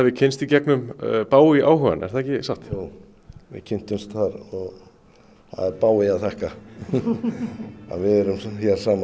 kynnst í gegnum Bowie áhugann er það ekki satt jú við kynntumst þar það er Bowie að þakka að við erum hér saman